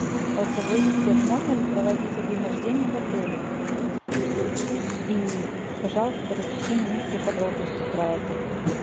голосовой ассистент можно ли проводить день рождения в отеле и пожалуйста расскажи мне все подробности про это